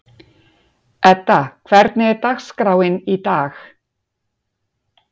Edda, hvernig er dagskráin í dag?